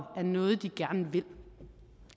er noget de gerne vil